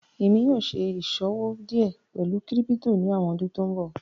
ẹ̀mi yóò ṣẹ̀ ìṣọwọ díẹ sí pẹ̀lú kírípítò ní awọn ọdún tó nbọ̀.